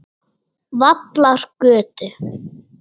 Vallargötu